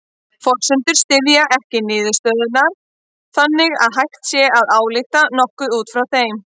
Forsendurnar styðja ekki niðurstöðurnar þannig að hægt sé að álykta nokkuð út frá þeim.